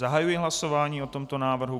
Zahajuji hlasování o tomto návrhu.